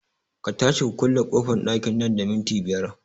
Ka tashi ku kulle ƙofan ɗakin nan da minti biyar